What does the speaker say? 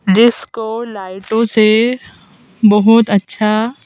जिसको लाइटों से बहुत अच्छा--